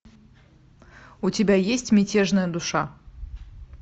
у тебя есть мятежная душа